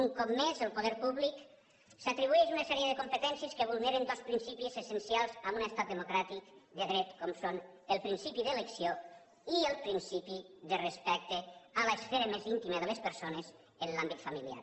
un cop més el poder públic s’atribueix una sèrie de competències que vulneren dos principis essencials en un estat democràtic de dret com són el principi de elecció i el principi de respecte a l’esfera més íntima de les persones en l’àmbit familiar